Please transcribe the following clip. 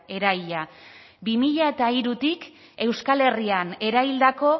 eraila bi mila hirutik euskal herrian eraildako